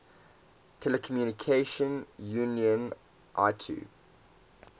telecommunication union itu